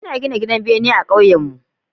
Ina gina gidan bene ah kauyenmu